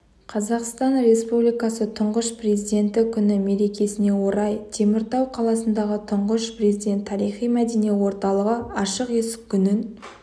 қазақстан республикасы тұңғыш президенті күні мерекесіне орай теміртау қаласындағы тұңғыш президент тарихи-мәдени орталығы ашық есік күнін